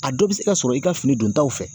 A dɔ bɛ se ka sɔrɔ i ka fini don taw fɛ